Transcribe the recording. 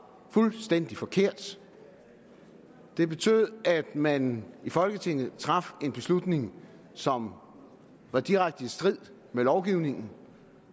fuldstændig forkert det betød at man i folketinget traf en beslutning som var direkte i strid med lovgivningen